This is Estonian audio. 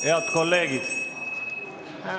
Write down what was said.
Head kolleegid!